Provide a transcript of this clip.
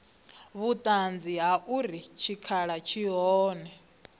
vhuṱanzi ha uri tshikhala tshi hone